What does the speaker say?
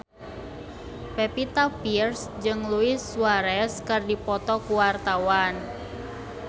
Pevita Pearce jeung Luis Suarez keur dipoto ku wartawan